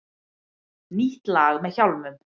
Nýtt lag með Hjálmum